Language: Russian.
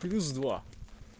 плюс два